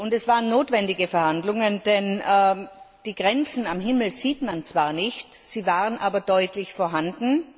Es waren notwendige Verhandlungen, denn die Grenzen am Himmel sieht man zwar nicht, sie waren aber deutlich vorhanden.